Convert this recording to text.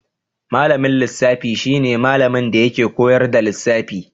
Malamin lissafi shi ne malamin da yake koyar da lissafi.